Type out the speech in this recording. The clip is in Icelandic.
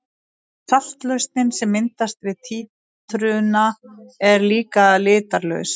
Saltlausnin sem myndast við títrunina er líka litarlaus.